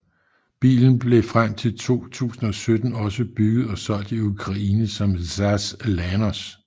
Bilen blev frem til 2017 også bygget og solgt i Ukraine som ZAZ Lanos